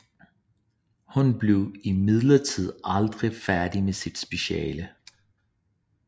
Hun blev imidlertid aldrig færdig med sit speciale